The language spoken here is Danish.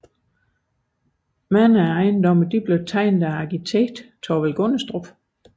Mange af ejendommene blev tegnet af arkitekten Thorvald Gundestrup